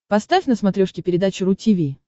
поставь на смотрешке передачу ру ти ви